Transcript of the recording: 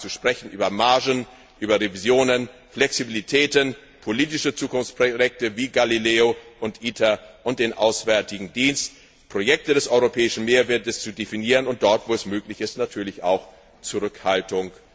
von Lissabon, über Margen, über Revisionen, Flexibilitäten, politische Zukunftsprojekte wie Galileo und ITER und den Auswärtigen Dienst, um Projekte des europäischen Mehrwertes zu definieren und dort, wo es möglich ist, natürlich auch Zurückhaltung